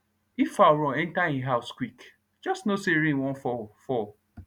if fowl run enter e house quick just know say rain wan fall fall